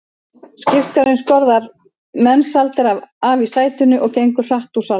Skipstjórinn skorðar Mensalder af í sætinu og gengur hratt út úr salnum.